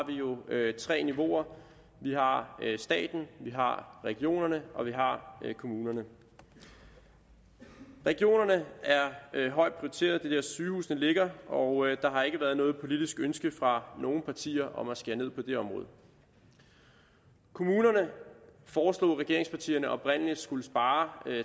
vi jo tre niveauer vi har staten vi har regionerne og vi har kommunerne regionerne er højt prioriteret der sygehusene ligger og der har ikke været noget politisk ønske fra nogen partier om at skære ned på det område kommunerne foreslog regeringspartierne oprindelig skulle spare